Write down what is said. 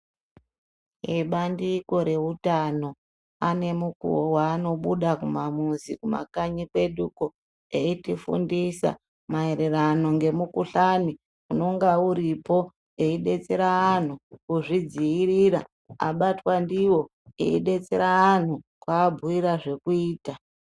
Ebandiko reutano ane mukuo waanobuda mumuzi mukanyi kwo eitufundisa maererano ngemukhuhlani unenge uripo eyi detsera anhu kuzvidzivirira abatwa ndiwo edetsera anhu kuabhiyira zvekuita.